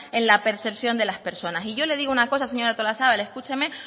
en la percepción de las personas yo le digo una cosa señora artolazabal escúcheme